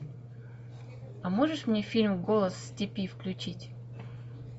а можешь мне фильм голос степи включить